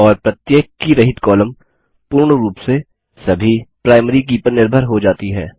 और प्रत्येक की रहित कॉलम पूर्ण रूप से सभी प्राइमरी की पर निर्भर हो जाती है